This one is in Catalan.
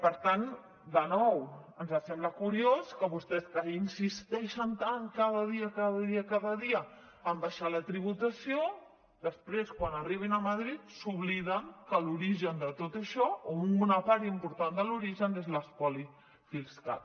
per tant de nou ens sembla curiós que vostès que insisteixen tant cada dia cada dia cada dia en baixar la tributació després quan arriben a madrid s’obliden que l’origen de tot això o una part important de l’origen és l’espoli fiscal